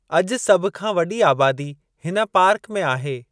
अॼु, सभ खां वॾी आबादी हिन पार्क में आहे।